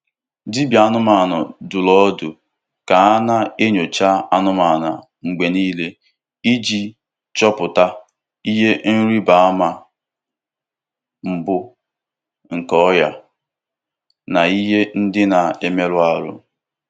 Dibịa anụmanụ dụrụ ọdụ ka a na-enyocha anụmanụ mgbe nile iji chọpụta ihe ịrịba ama mbụ nke ọrịa na ihe ndị na-emerụ ahụ.